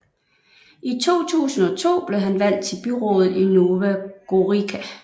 I 2002 blev han valgt til byrådet i Nova Gorica